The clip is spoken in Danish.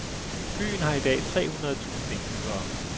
Byen har i dag tre hundrede tusind indbyggere.